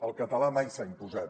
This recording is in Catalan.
el català mai s’ha imposat